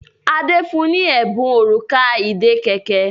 Ade fún ní Ẹbùn Òrùka ìdè kẹ̀kẹ́.